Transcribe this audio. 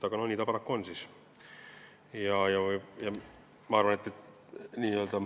Aga nii ta paraku on.